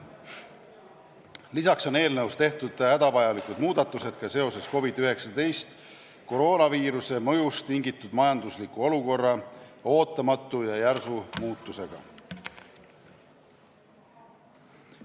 Lisaks on eelnõus tehtud hädavajalikud muudatused seoses COVID-19 koroonaviiruse mõjust tingitud majandusliku olukorra ootamatu ja järsu muutusega.